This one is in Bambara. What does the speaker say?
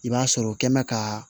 I b'a sɔrɔ o kɛ mɛ ka